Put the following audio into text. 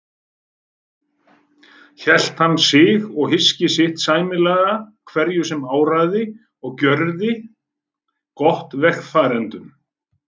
Hélt hann sig og hyski sitt sæmilega hverju sem áraði og gjörði gott vegfarendum.